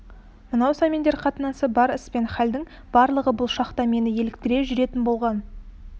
мынау сәмендер қатынасы бар іс пен халдің барлығы бұл шақта мені еліктіре жүретін болған